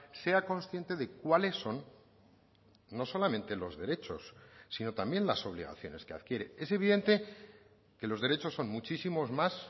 sea consciente de cuáles son no solamente los derechos sino también las obligaciones que adquiere es evidente que los derechos son muchísimos más